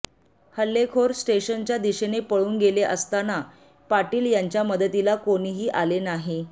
हल्लेखोर स्टेशनच्या दिशेने पळून गेले असतान पाटील यांच्या मदतीला कोणीही आले नाही